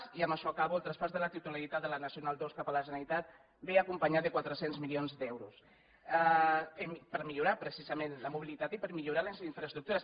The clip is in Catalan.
i amb això acabo el traspàs de la titularitat de la nacional ii cap a la generalitat ve acompanyat de quatre cents milions d’euros per millorar precisament la mobilitat i per millorar les infraestructures